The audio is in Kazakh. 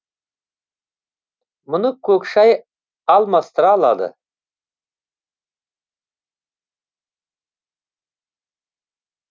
мұны көк шай алмастыра алады